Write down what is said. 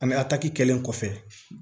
Ani ataki kɛlen kɔfɛ